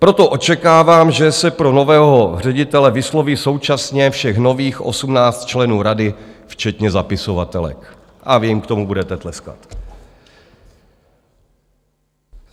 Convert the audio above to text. Proto očekávám, že se pro nového ředitele vysloví současně všech nových 18 členů rady, včetně zapisovatelek, a vy jim k tomu budete tleskat.